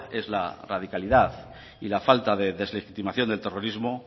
es la radicalidad y la falta de deslegitimación del terrorismo